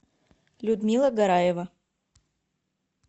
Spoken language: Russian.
людмила гараева